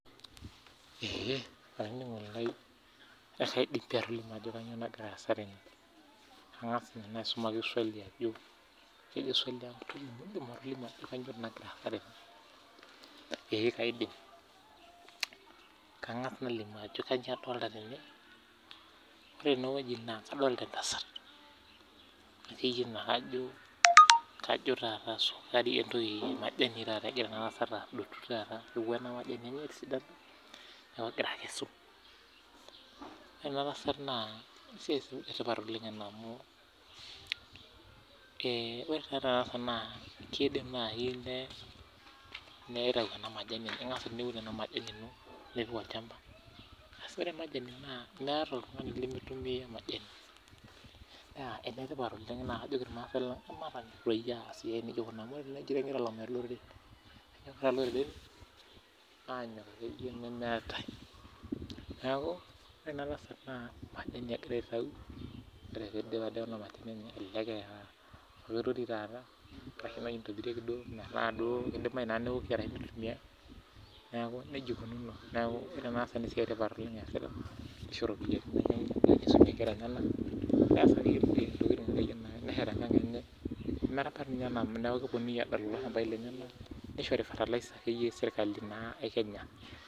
eeh olaininingoni lai kaidim atolimu pii entoki naloito dukuya tene aa taa kadolita entasat nagira adotu majani rtunulua enamajani enye etisidana neeku naa enkesare etii naa enetipat ena siai oleng amuu ore majani naa meeta oltungani limitumia neeku kisho naa ena tasat faida sapuk naa kajoki irmaasae lang matonyok aas amu enyokita iloreren oleng tena siai , Naa ore ena tasat naa keya enitobirieki taata peewoki neeku ore ena tasat naa esiai etipat oleng eesita amu kisho iropiani naisumie inkera neesie kulie siaitin